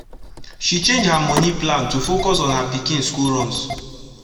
she change her moni plan to focus on her pikin school runs